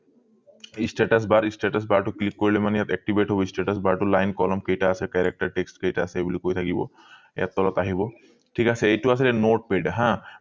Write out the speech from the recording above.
status bar status bar টো click কৰিলে মানে ইয়াত activate হৈ status bar টো line column কেইটা আছে characteristic কেইটা আছে এই বুলি কৈ থাকিব ইয়াত তলত আহিব ঠিক আছে এইটো আছিলে notepad হা